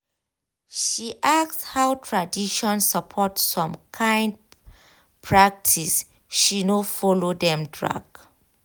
she ask how tradition support some kyn practiceshe no follow dem drag